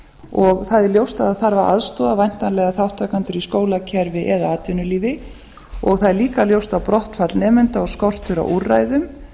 og það er ljóst að það þarf að aðstoða væntanlega þátttakendur í skólakerfi eða atvinnulífi og það er líka ljóst að brottfall nemenda og skortur á úrræðum